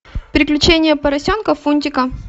приключения поросенка фунтика